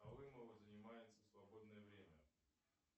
алымова занимается в свободное время